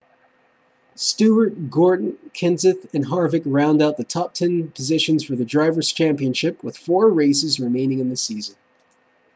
stewart gordon kenseth and harvick round out the top-ten positions for the drivers' championship with four races remaining in the season